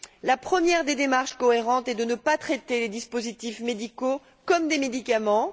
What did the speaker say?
La première des démarches cohérentes est de ne pas traiter les dispositifs médicaux comme des médicaments.